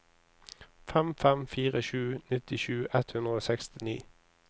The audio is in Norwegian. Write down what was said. fem fem fire sju nittisju ett hundre og sekstini